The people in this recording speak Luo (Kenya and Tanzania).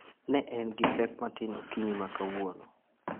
"Ne en gi pek matin okinyi ma kawuono."